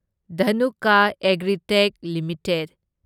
Dhanuka Agritech limited